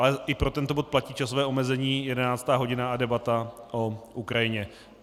Ale i pro tento bod platí časové omezení 11. hodina a debata o Ukrajině.